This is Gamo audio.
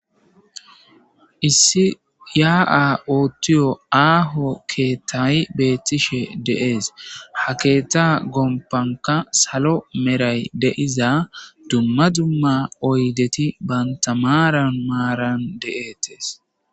Issi yaa'a oottiyo aaho keetayi beettishe deees ha keeta gompanka salo meray deiza dumma dumma oydeti bantamaaran maaran de'etees.